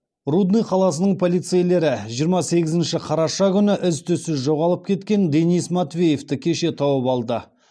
рудный қаласының полицейлері жиырма сегізінші қараша күні із түзсіз жоғалып кеткен денис матвеевті кеше тауып алды